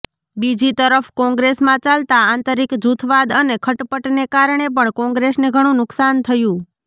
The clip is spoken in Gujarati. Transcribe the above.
બીજી તરફ કોંગ્રેસમાં ચાલતા આંતરિક જૂથવાદ અને ખટપટને કારણે પણ કોંગ્રેસને ઘણું નુકસાન થયું